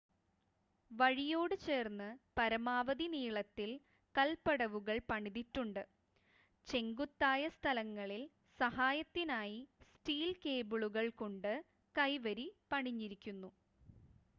വഴിയോട് ചേർന്ന് പരമാവധി നീളത്തിൽ കൽപടവുകൾ പണിതിട്ടുണ്ട് ചെങ്കുത്തായ സ്ഥലങ്ങളിൽ സഹായത്തിനായി സ്റ്റീൽ കേബിളുകൾകൊണ്ട് കൈവരി പണിഞ്ഞിരിക്കുന്നു